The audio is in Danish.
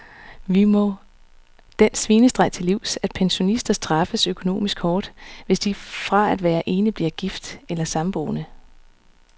Vi må den svinestreg til livs, at pensionister straffes økonomisk hårdt, hvis de fra at være enlig bliver gift eller samboende.